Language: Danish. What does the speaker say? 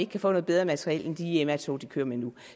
kan få noget bedre materiel end de mr tog de kører med nu